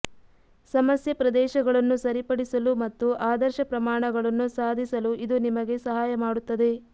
ಸಮಸ್ಯೆ ಪ್ರದೇಶಗಳನ್ನು ಸರಿಪಡಿಸಲು ಮತ್ತು ಆದರ್ಶ ಪ್ರಮಾಣಗಳನ್ನು ಸಾಧಿಸಲು ಇದು ನಿಮಗೆ ಸಹಾಯ ಮಾಡುತ್ತದೆ